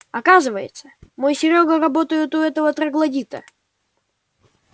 оказывается мой серёга работает у этого троглодита